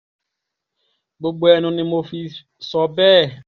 gbogbo ẹnu ni mo sì fi sọ bẹ́ẹ̀